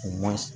U ma se